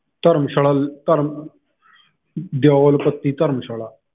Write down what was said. ਧਰਮਸ਼ਾਲਾ ਧਰਮ ਦਿਓਲ ਪੱਤੀ ਧਰਮਸ਼ਾਲਾ।